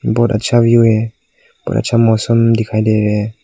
बहुत अच्छा व्यू है बहुत अच्छा मौसम दिखाई दे रहे है।